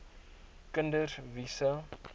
kinders wie se